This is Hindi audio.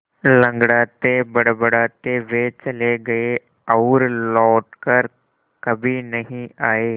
लँगड़ाते बड़बड़ाते वे चले गए और लौट कर कभी नहीं आए